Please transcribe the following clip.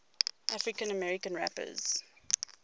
african american rappers